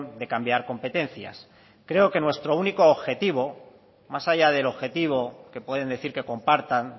de cambiar competencias creo que nuestro único objetivo más allá del objetivo que pueden decir que compartan